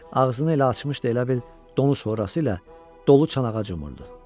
Ağzını elə açmışdı, elə bil donuz sorası ilə dolu çanağa cumurdu.